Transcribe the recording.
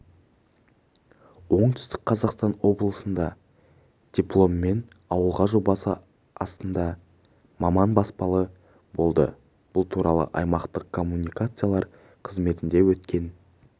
оңтүстік қазақстан облысында дипломмен ауылға жобасы асында маман баспаналы болды бұл туралы аймақтық коммуникациялар қызметінде өткен